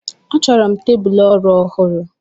A chọrọ m tebụl ọrụ ọhụrụ.